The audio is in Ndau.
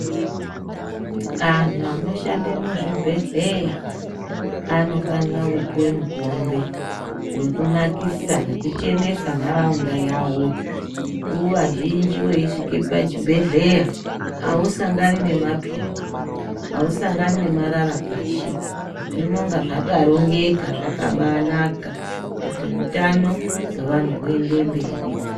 Anhu vanoshande muzvibhedleya anofanire kupuwe mukombe wekunakisa, nekuchenesa ntaraunda yavo nguvazhinji uyisvike pachibhedleya hausangani nemapepa, hausangani nemarara pashi zvinonga zvakarongeka zvakabanaka kuti hutana weanhu uende mberi.